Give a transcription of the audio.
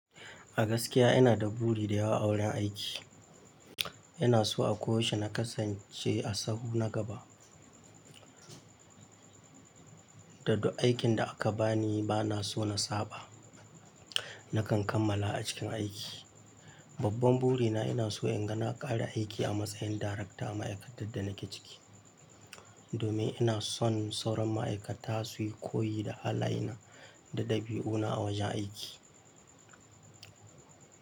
A gaskiya ina da buri da yawa a wurin aiki. Ina so a koyaushe na kasance a sahu na gaba. Da duk aikin da aka bani bana so na saba. Nakan kammala a cikin aiki. Babban buri na ina so inga na ƙare aiki a matsayin darekta a ma'aikatar da nake ciki. Domin ina son sauran ma'aikata su yi koyi da halaye na da ɗabi'u na a wajen aiki.